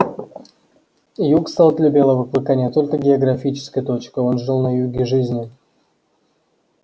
юг стал для белого клыка не только географической точкой он жил на юге жизни